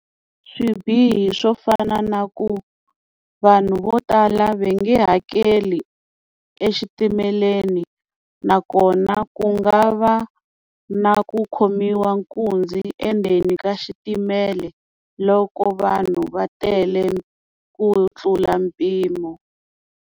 Swibihi swo fana na ku vanhu vo tala va nge hakeli exitimeleni nakona ku nga va na ku khomiwa nkunzi endzeni ka xitimela loko vanhu va tele ku tlula mpimo.